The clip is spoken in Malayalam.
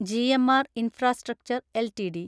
GMR infrastructure LTD